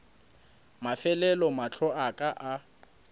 mafelelo mahlo a ka a